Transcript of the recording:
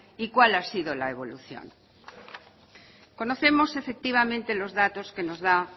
y cuál ha sido la evolución conocemos efectivamente los datos que nos da